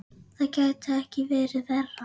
Það gæti ekki verið verra.